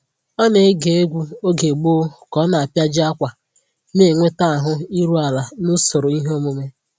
Ọ na-ege egwu oge gboo ka ọ na-apịaji ákwà, na-enweta ahụ iru ala n'usoro ihe omume